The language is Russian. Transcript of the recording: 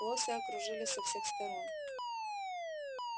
лося окружили со всех сторон